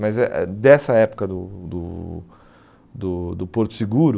Mas eh dessa época do do do do Porto Seguro,